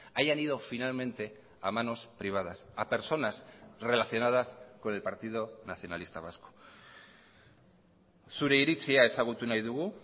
hayan ido finalmente a manos privadas a personas relacionadas con el partido nacionalista vasco zure iritzia ezagutu nahi dugu